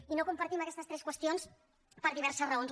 i no compartim aquestes tres qüestions per diverses raons